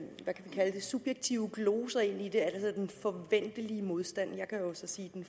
kalde det subjektive gloser ind i det altså den forventelige modstand jeg kan jo så sige den